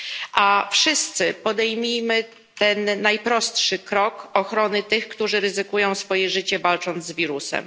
A wszyscy podejmijmy ten najprostszy krok w postaci ochrony tych, którzy ryzykują swoje życie, walcząc z wirusem.